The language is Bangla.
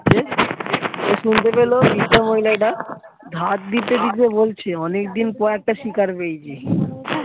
সে শুনতে পেলো বৃদ্ধা মহিলাটা ধার দিতে দিতে বলেছে অনেকদিন পর একটা শিকার পেয়েছি।